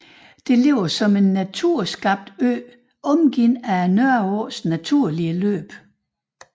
Det ligger som en naturskabt ø omgivet af Nørreåens naturlige løb